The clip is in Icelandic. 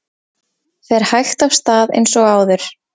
Fer hægt af stað eins og áður